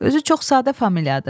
Özü çox sadə familiyadır.